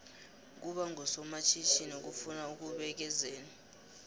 ukuba ngusomatjhithini kufuna ukubekezela